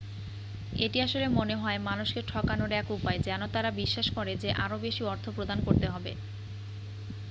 এটি আসলে মনে হয় মানুষকে ঠকানোর এক উপায় যেন তারা বিশ্বাস করে যে আরো বেশি অর্থ প্রদান করতে হবে